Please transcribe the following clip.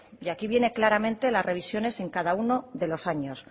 y aquí viene claramente las revisiones en cada uno de los años